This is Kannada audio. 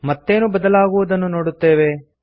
ಮತ್ತೇನು ಬದಲಾಗುವುದನ್ನು ನೋಡುತ್ತೇವೆ